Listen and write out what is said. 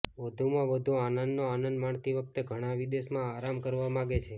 વધુમાં વધુ આનંદનો આનંદ માણતી વખતે ઘણા વિદેશમાં આરામ કરવા માગે છે